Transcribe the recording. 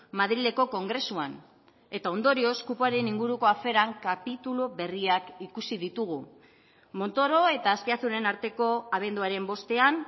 madrileko kongresuan eta ondorioz kupoaren inguruko aferan kapitulu berriak ikusi ditugu montoro eta azpiazuren arteko abenduaren bostean